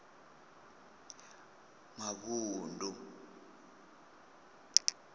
muvhundu